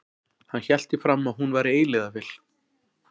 Hann hélt því fram að hún væri eilífðarvél.